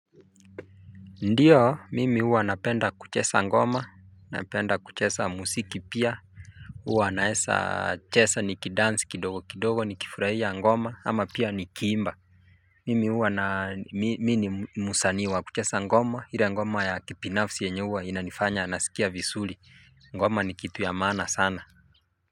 Ndiyo mimi huwa napenda kucheza ngoma napenda kucheza muziki pia. Huwa naweza cheza nikidansi kidogo kidogo nikifurahia ngoma ama pia nikiimba. Mimi huwa ni msanii wa kucheza ngoma ile ngoma ya kibinafsi yenye huwa inanifanya nasikia vizuri ngoma ni kitu ya maana sana.